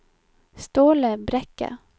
Ståle Brekke